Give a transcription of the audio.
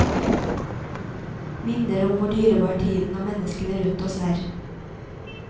Minner om hvor dyrebar tiden og menneskene rundt oss er.